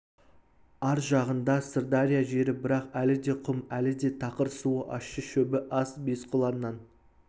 ар жағында сырдария жері бірақ әлі де құм әлі де тақыр суы ащы шөбі аз бесқұланнан